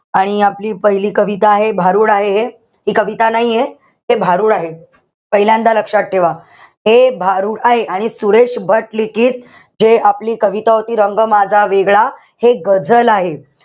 आणि आपली पहिली कविता आहे, भारूड आहे हे, हि कविता नाहीये. ते भारूड आहे. पहिल्यांदा लक्षात ठेवा. हे भारूड आहे. सुरेश भट लिखित हे आपली कविता होती रंग माझा वेगळा. हे गझल आहे.